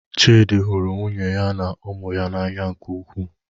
Chidi hụrụ nwunye ya na ụmụ ya n'anya nke ukwuu.